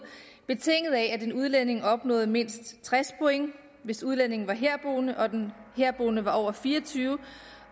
betinget af at en udlænding opnåede mindst tres point hvis udlændingen var herboende og den herboende var over fire og tyve år